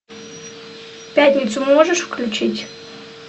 пятницу можешь включить